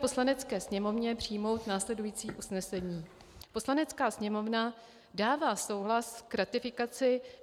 Poslanecké sněmovně přijmout následující usnesení: Poslanecká sněmovna dává souhlas k ratifikaci